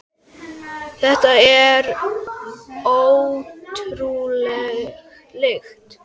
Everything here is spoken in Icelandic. Þetta er ótrúleg lykt.